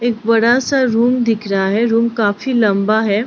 एक बड़ा-सा रूम दिख रहा है रूम काफी लम्बा है।